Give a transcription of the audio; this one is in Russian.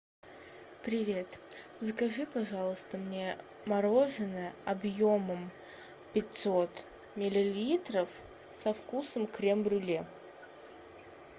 привет закажи пожалуйста мне мороженое объемом пятьсот миллилитров со вкусом крем брюле